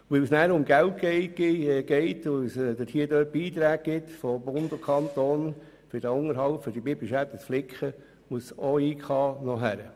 Weil es um Geld geht und weil es von Bund und Kanton Beiträge gibt, um diese Biberschäden zu beheben, wird ein Ingenieur hinzugezogen.